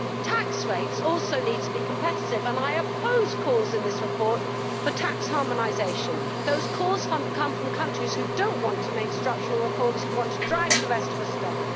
Tax rates also need to be competitive, and I oppose calls in this report for tax harmonisation. Those calls come from countries which do not want to make structural reforms and want to drag the rest of us down.